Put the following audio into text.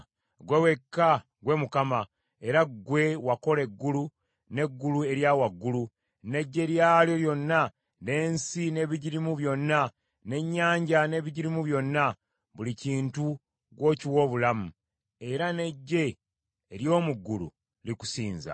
Ggwe wekka, ggwe Mukama , era ggwe wakola eggulu, n’eggulu erya waggulu, n’eggye lyalyo lyonna, n’ensi n’ebigirimu byonna, n’ennyanja n’ebigirimu byonna. Buli kintu gw’okiwa obulamu, era n’eggye ery’omu ggulu likusinza.